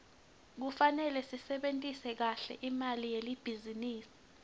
kufarele sisebentise kahle imali yelibhizinisi